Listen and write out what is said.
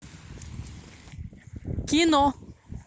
кино